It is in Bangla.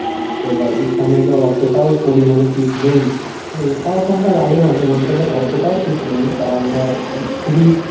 তো এবার এখানে ধর অতটাও পরিমাণে শীত নেই, ঠিক আছে. তাও ঠান্ডা লাগে মাঝে মধ্যে but অতটাও শীত নেই. কারণ ধর খুবই